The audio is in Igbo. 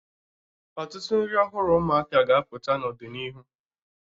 Ọtụtụ nri ọhụrụ ụmụaka ga-apụta n'ọdịnihu